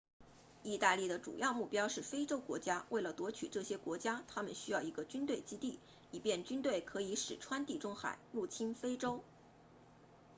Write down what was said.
意大利的主要目标是非洲国家为了夺取这些国家他们需要一个军队基地以便军队可以驶穿地中海入侵非洲